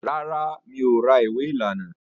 Rárá, mi ò ra ìwé lánàá